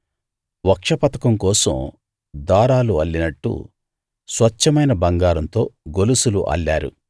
వక్షపతకం కోసం దారాలు అల్లినట్టు స్వచ్ఛమైన బంగారంతో గొలుసులు అల్లారు